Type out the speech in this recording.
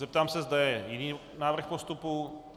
Zeptám se, zda je jiný návrh postupu.